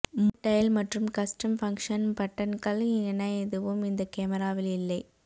mode dial மற்றும் custom function பட்டன்கள் என எதுவும் இந்த கேமராவில் இல்லை